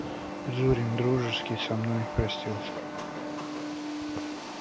зурин дружески со мной простился